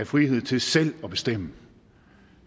frihed til selv at bestemme